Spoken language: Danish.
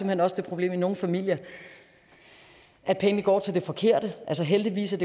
hen også det problem i nogle familier at pengene går til det forkerte heldigvis er